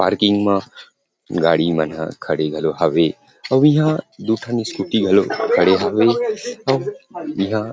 parking म गाड़ी मन हा खड़े घलो हावे अउ इहां दु ठन स्कूटी घलो खड़े हावे अऊ इंहा --